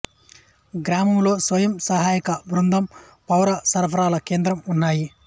గ్రామంలో స్వయం సహాయక బృందం పౌర సరఫరాల కేంద్రం ఉన్నాయి